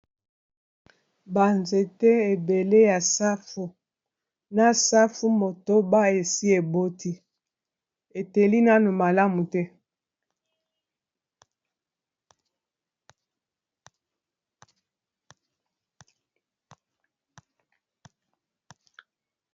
ba nzete ebele ya safu, na safu motoba esi eboti eteli nano malamu te.